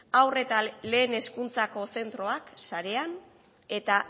haur eta lehen hezkuntzako zentroak sarean eta